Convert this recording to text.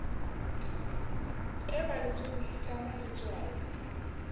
e balletsweng e tlama letswalo